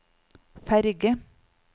ferge